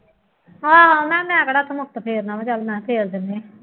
ਹਾਂ ਮੈਂ ਕਿਹੜਾ ਫੇਰਨਾ ਵਾ, ਚੱਲ ਮੈਂ ਫੇਰ ਦਿੰਦੀ ਹਾਂ